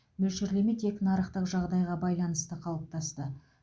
мөлшерлеме тек нарықтық жағдайға байланысты қалыптасты